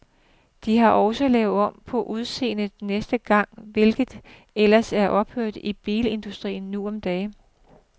De har også lavet om på udseendet næsten hver gang, hvilket ellers er uhørt i bilindustrien nu om dage.